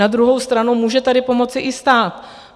Na druhou stranu může tady pomoci i stát.